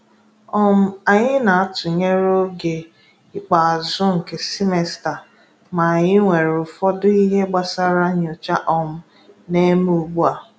um Anyị na-atụnyere oge ikpeazụ nke semesta, ma anyị nwere ụfọdụ ihe gbasara nyocha um na-eme ụgbu a.